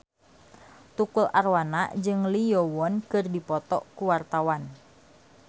Tukul Arwana jeung Lee Yo Won keur dipoto ku wartawan